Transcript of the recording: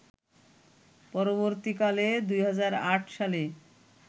পরবর্তীকালে ২০০৮ সালে